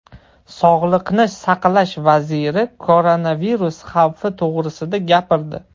Sog‘liqni saqlash vaziri koronavirus xavfi to‘g‘risida gapirdi.